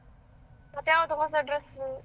ಮತ್ತೆ ಆವತ್ತು ಹೊಸ dress.